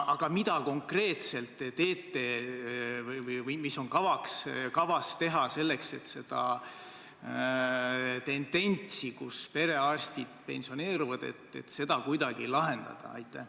Aga mida konkreetselt te teete või mis on kavas teha selleks, et seda tendentsi, et perearstid pensioneeruvad, kuidagi lahendada?